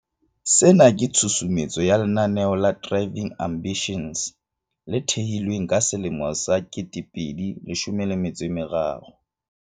Sena ke tshusumetso ya lenaneo la Driving Ambitions, le thehilweng ka selemo sa 2013.